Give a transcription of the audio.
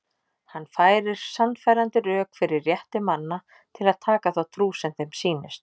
Hann færir sannfærandi rök fyrir rétti manna til að taka þá trú sem þeim sýnist.